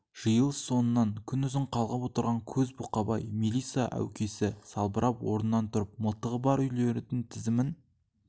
жиылыс соңынан күн үзын қалғып отырған көз бұқабай мелиса әукесі салбырап орнынан тұрып мылтығы бар үйлердің тізімін